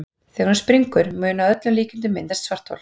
Þegar hún springur mun að öllum líkindum myndast svarthol.